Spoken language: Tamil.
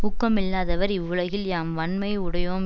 ஊக்கம் இல்லாதவர் இவ்வுலகில் யாம் வண்மை உடையேம்